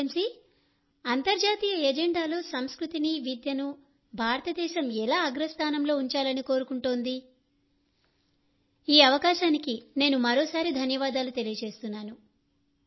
X లెన్సీ అంతర్జాతీయ ఎజెండాలో సంస్కృతిని విద్యను భారతదేశం ఎలా అగ్రస్థానంలో ఉంచాలని కోరుకుంటోంది ఈ అవకాశానికి నేను మరోసారి ధన్యవాదాలు తెలియజేస్తున్నాను